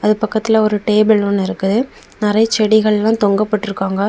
அது பக்கத்துல ஒரு டேபிள் ஒன்னு இருக்கு நரை செடிகள் எல்லாம் தொங்கப்பட்டு இருக்காங்க.